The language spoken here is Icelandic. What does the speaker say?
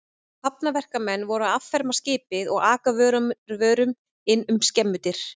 Hafnarverkamenn voru að afferma skipið og aka vörunum inn um skemmudyr.